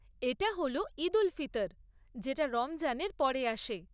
এটা হল ঈদ উল ফিতর, যেটা রমজানের পরে আসে।